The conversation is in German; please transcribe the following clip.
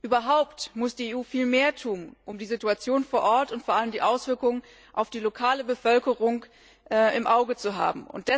Überhaupt muss die EU viel mehr tun, um die Situation vor Ort und vor allem die Auswirkungen auf die lokale Bevölkerung im Auge zu haben.